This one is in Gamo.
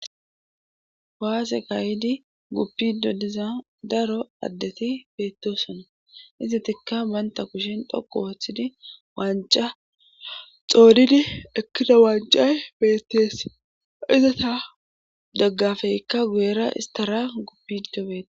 Waase gayidi guppido diza daro addeti beettosona izatikka baynta kushin dhoku wooththidi wanca xoodidi ekkida wancay beettees izata doggafeykka guyera istara guppido beea.